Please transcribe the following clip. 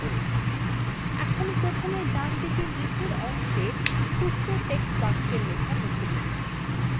এখানে প্রথমে ডানদিকে নীচের অংশে সূত্র text box লেখা মুছে দিন